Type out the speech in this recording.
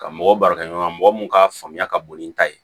Ka mɔgɔw baarakɛ ɲɔgɔn mɔgɔ mun ka faamuya ka bon ni n ta ye